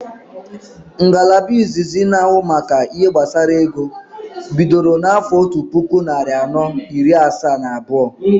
Ngalaba izizi na ahụ maka ihe gbasara ego bidoro na afo ọtu puku narị anọ iri asaa na abuo